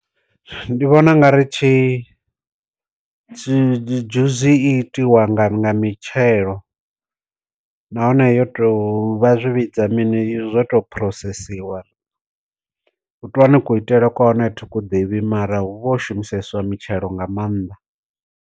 Ndi vhona u nga ri tshi tshi dzhuzi i tiwa nga nga mitshelo, nahone yo to vha zwi vhidza mini zwo to phurosesiwa. Kone ku itele kwa hone thi ku ḓivhi mara hu vha ho shumiseswa mitshelo nga maanḓa.